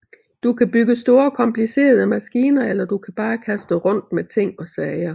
Du kan bygge store komplicerede maskiner eller du kan bare kaste rundt med ting og sager